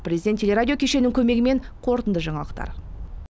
президент теле радио кешенінің көмегімен қорытынды жаңалықтар